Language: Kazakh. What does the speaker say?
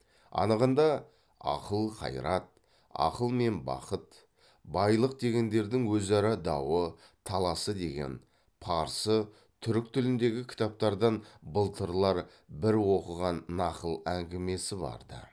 анығында ақыл қайрат ақыл мен бақыт байлық дегендердің өзара дауы таласы деген парсы түрік тіліндегі кітаптардан былтырлар бір оқыған нақыл әңгімесі бар ды